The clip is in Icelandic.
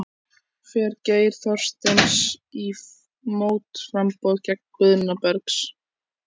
Fer Geir Þorsteins í mótframboð gegn Guðna Bergs?